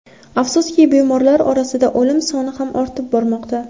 Afsuski, bemorlar orasida o‘lim soni ham ortib bormoqda.